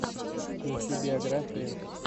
включи биографию